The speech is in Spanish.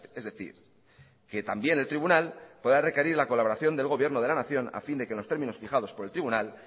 es decir que también el tribunal pueda requerir la colaboración del gobierno de la nación a fin de que en los términos fijados por el tribunal